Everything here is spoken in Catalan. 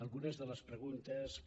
algunes de les preguntes que